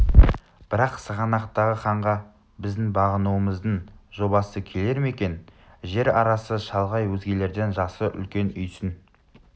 бірақ сығанақтағы ханға біздің бағынуымыздың жобасы келер ме екен жер арасы шалғай өзгелерден жасы үлкен үйсін